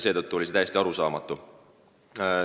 Seetõttu oli see täiesti arusaamatu.